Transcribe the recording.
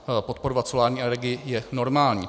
Podporovat solární energii je normální.